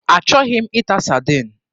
Achọghị m ịta Sadin.